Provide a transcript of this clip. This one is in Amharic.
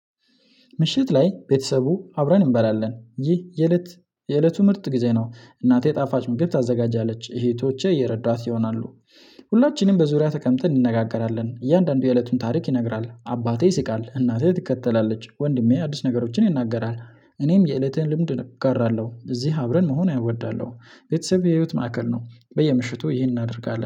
ምሽት ላይ ቤተሰቡ አብረን እንበላለን ይህ የእለት የእለቱ ምርጥ ጊዜ ነው እናቴ ጣፋጭ ምግብ ታዘጋጃለች እህቶቼ እየረዳት ይሆናሉ። ሁላችንም በዙሪያ ተቀምጠን እንነጋገራለን እያንዳንዱ የእለቱን ታሪክ ይነግራል አባቴ ይስቃል እናቴ ትከተላለች ወንድሜ አዲስ ነገሮችን ይናገራል እኔም የእለቴን ልምድ እጋራለሁ። እዚህ አብረን መሆን አይወዳለሁ ቤተሰብ የህይወት ማዕከል ነው። በየምሽቱ ይሄን እናደርጋለን